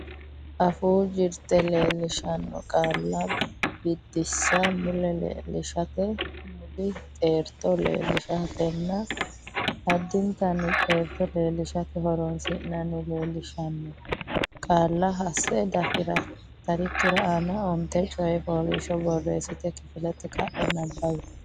Afuu Jirte Leellishaano Qaalla Biddissa Mule leellishate, muli xeerto leellishatenna addintanni xeerto leellishate horonsi’nanni leellishaano qaalla hasse dafitarikki aana onte coy fooliishsho borreessite kifilete ka’e nabbawi.